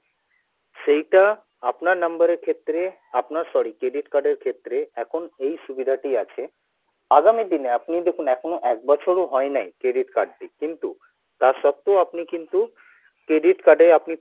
সেইটা আপনার number এর ক্ষেত্রে আপনার sorry credit card এর ক্ষেত্রে এখন এই সুবিধা টি আছে আগামী দিনে আপনি দেখুন এখনও এক বছর ও হয়নাই credit card টি কিন্তু তার সত্বেও কিন্তু আপনি credit card এ আপনি